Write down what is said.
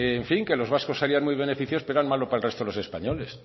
en fin que los vascos salían muy beneficiados pero era malo para el resto de los españoles